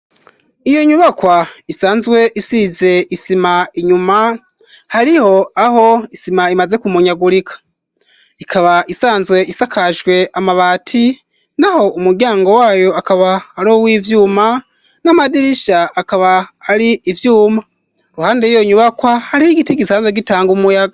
Iyo nyubakwa isanzwe isize isima inyuma hariho aho isima imaze kumonyagurika. Ikaba isanzwe isakajwe amabati n'aho umuryango wayo akaba ari uw'ivyuma, n'amadirishia akaba ari ivyuma. Ku ruhande yiyo nyubakwa, hariho igiti gisanzwe gitanga umuyaga.